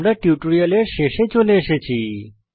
আমরা টিউটোরিয়ালের শেষে চলে এসেছি